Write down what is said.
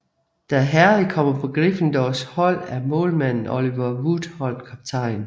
Da Harry kommer på Gryffindors hold er målmanden Oliver Wood holdkaptajn